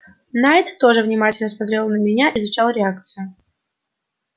найд тоже внимательно смотрел на меня изучал реакцию